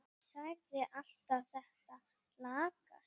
Sagðir alltaf þetta lagast.